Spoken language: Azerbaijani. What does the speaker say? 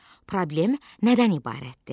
Problem nədən ibarətdir?